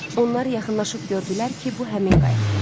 Onlar yaxınlaşıb gördülər ki, bu həmin qayıqdır.